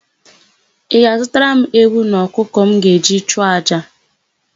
Ị ga-azụtara m ewu na ọkụkọ m ga-eji chụọ àjà?